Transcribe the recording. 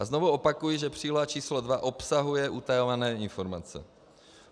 A znovu opakuji, že příloha číslo 2 obsahuje utajované informace.